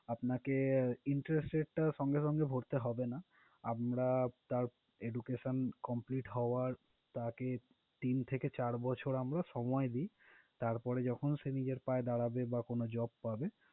আপনাকে interest rate টা সঙ্গে সঙ্গে ভরতে হবে না। আমরা তার education complete হওয়ার তাকে তিন থেকে চার বছর আমরা সময় দিই। তারপরে যখন সে নিজের পায়ে দাঁড়াবে বা কোনো job পাবে।